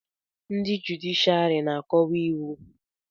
ndị jụdịshịàrị na-akọwa iwu